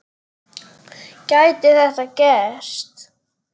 Gæti þetta gerst?